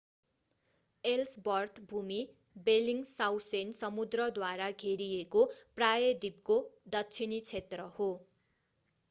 Ellsworth भूमि Bellingshausen समुद्रद्वारा घेरिएको प्रायद्वीपको दक्षिणी क्षेत्र हो